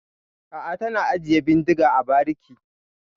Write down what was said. A'a, tana ajiye bindiga a bariki.